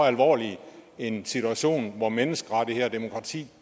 alvorlig en situation hvor menneskerettigheder og demokrati